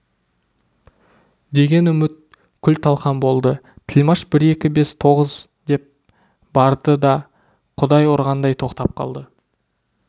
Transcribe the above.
деген үміт күл-талқан болды тілмаш бір екі бес тоғыз деп барды да құдай ұрғандай тоқтап қалды